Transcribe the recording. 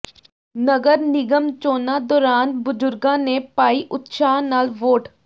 ਨਗਰ ਨਿਗਮ ਚੋਣਾਂ ਦੌਰਾਨ ਬਜ਼ੁੱਰਗਾਂ ਨੇ ਪਾਈ ਉਤਸ਼ਾਹ ਨਾਲ ਵੋਟ